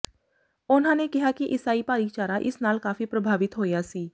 ਉਨ੍ਹਾਂ ਨੇ ਕਿਹਾ ਕਿ ਈਸਾਈ ਭਾਈਚਾਰਾ ਇਸ ਨਾਲ ਕਾਫੀ ਪ੍ਰਭਾਵਿਤ ਹੋਇਆ ਸੀ